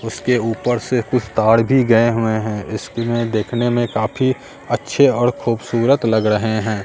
उसके ऊपर से कुछ तार भी गए हुए हैं इसमें देखने में काफी अच्छे और खूबसूरत लग रहे हैं।